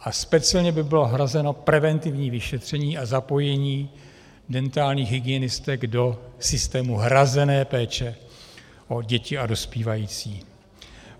A speciálně by bylo hrazeno preventivní vyšetření a zapojení dentálních hygienistek do systému hrazené péče o děti a dospívající.